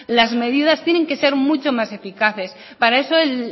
las medidas tienen que ser mucho más eficaces para eso el